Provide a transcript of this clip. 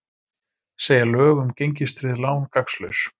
Segja lög um gengistryggð lán gagnslaus